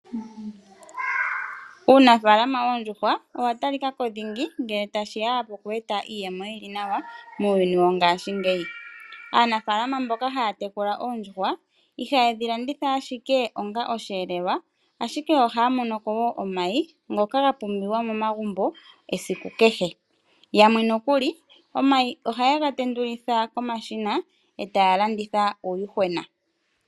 Uunafalama wondjuhwa owa tali kako dhingi ngele tashiya poku eta iizemo yili nawa muyuni wongashingeyi. Aanafalama mboka haya tekula ondjuhwa ihadhi landitha ashike onga osheelelwa, ashike oha mono ko wo omayi ngoka ga pumbiwa momagumbo esiku kehe. Yamwe nokuli omayi ohayega tendulitha komashina e ta landitha uuyuhwena.